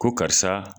Ko karisa